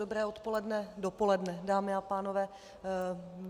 Dobré odpoledne, dopoledne, dámy a pánové.